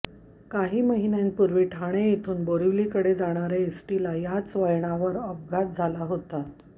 काही महिन्यांपुर्वी ठाणे येथून बोरीवली कडे जाणार्या एसटीला याच वळणावर अपघात झाला होता